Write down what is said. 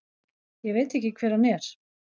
Ég veit ekki hver hann er.